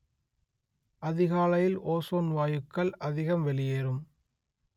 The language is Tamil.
அதிகாலையில் ஓஸோன் வாயுக்கள் அதிகம் வெளியேறும்